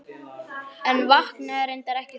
En vaknaði reyndar ekki þannig.